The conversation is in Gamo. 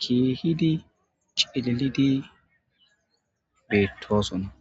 kiihidi celidi beettoosona